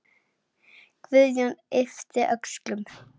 Guðjón yppti öxlum.